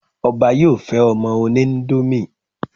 Ọbá yóò fẹ́ ọmọ oníńdómì